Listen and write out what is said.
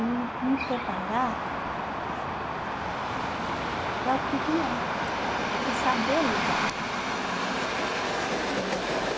e me preparar para o que vier e saber lidar uhum com os problemas.